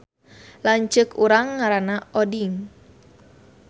Lanceuk urang ngaranna Oding